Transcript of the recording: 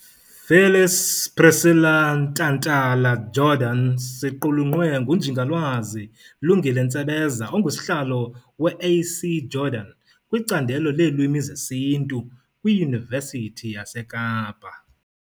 Phyllis Priscilla Ntantala-Jordan siqulunqwe nguNjingalwazi Lungile Ntsebeza ongusihlalo we A. C Jordan kwiCandelo leeLwimi zesiNtu kwiYunivesithi yaseKapa .